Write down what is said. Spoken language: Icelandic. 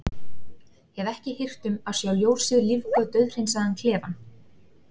Hef ekki hirt um að sjá ljósið lífga dauðhreinsaðan klefann.